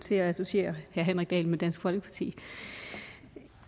til at associere herre henrik dahl med dansk folkeparti